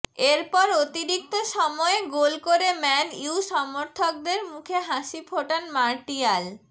এরপর অতিরিক্ত সময়ে গোল করে ম্যান ইউ সমর্থকদের মুখে হাসি ফোটান মার্টিয়াল